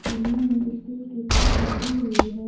सीढ़ियों में स्टील की पाइप लगी हुई है।